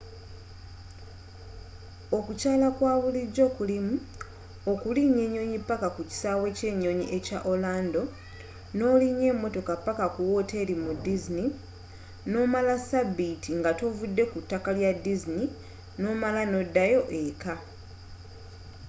okukyala okwabulijjo kulimu okulinya enyonyi paka ku kisaawe ky'enyonyi ekya orlando n'olinya emotoka paka ku woteeri mu disney noomala sabbiiti nga tovudde ku ttaka lya disney n'omala n'oddayo eeka